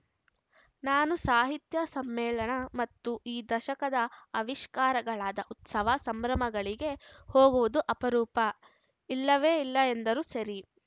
ನಾನು ಸಾಹಿತ್ಯ ಸಮ್ಮೇಳನ ಮತ್ತು ಈ ದಶಕದ ಆವಿಷ್ಕಾರಗಳಾದ ಉತ್ಸವ ಸಂಭ್ರಮಗಳಿಗೆ ಹೋಗುವುದು ಅಪರೂಪ ಇಲ್ಲವೇ ಇಲ್ಲ ಎಂದರೂ ಸರಿ